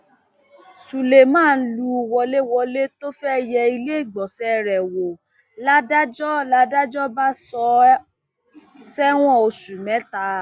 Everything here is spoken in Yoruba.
suleman lù wọléwọlẹ tó fẹẹ yẹ iléegbọnṣe rẹ wò ládàjọ ládàjọ bá sọ ọ sẹwọn oṣù mẹta